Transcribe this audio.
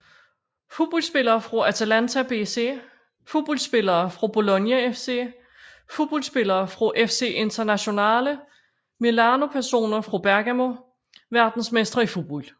Fodboldspillere fra Atalanta BC Fodboldspillere fra Bologna FC Fodboldspillere fra FC Internazionale Milano Personer fra Bergamo Verdensmestre i fodbold